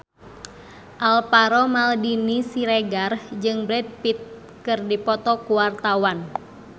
Alvaro Maldini Siregar jeung Brad Pitt keur dipoto ku wartawan